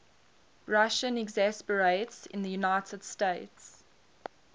russian expatriates in the united states